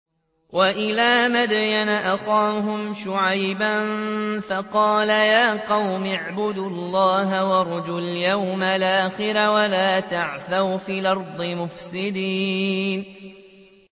وَإِلَىٰ مَدْيَنَ أَخَاهُمْ شُعَيْبًا فَقَالَ يَا قَوْمِ اعْبُدُوا اللَّهَ وَارْجُوا الْيَوْمَ الْآخِرَ وَلَا تَعْثَوْا فِي الْأَرْضِ مُفْسِدِينَ